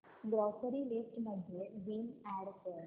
grocery list मध्ये Vim add कर